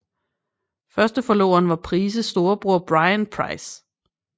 Første forloveren var Price storebror Bryan Price